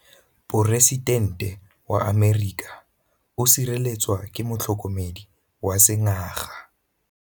Poresitêntê wa Amerika o sireletswa ke motlhokomedi wa sengaga.